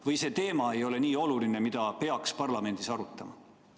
Või see teema ei ole nii oluline, et seda peaks parlamendis arutama?